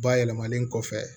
Bayɛlɛmanen kɔfɛ